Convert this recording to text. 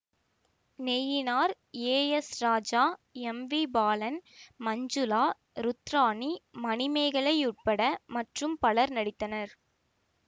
Nainar A S Raja M V Balan Manjula Rudrani Manimegalai உட்பட மற்றும் பலர் நடித்தனர்